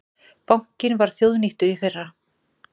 Bankinn var þjóðnýttur í fyrra